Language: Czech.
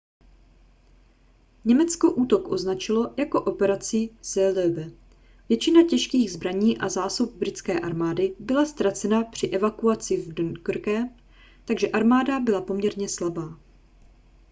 německo útok označilo jako operaci seelöwe . většina těžkých zbraní a zásob britské armády byla ztracena při evakuaci z dunkerque takže armáda byla poměrně slabá